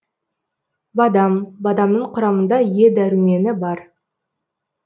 бадам бадамның құрамында е дәрумені бар